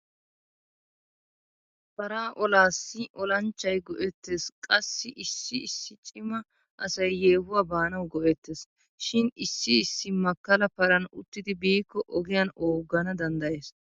Paraa olaassi olanchchay go'ettes qassi issi issi cima asay yeehuwa baanawu go'ettes. Shin issi issi makkala paran uttidi biiko ogiyan ooggana danddayes.